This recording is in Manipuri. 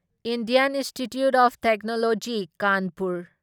Indian Institute of Technology Kanpur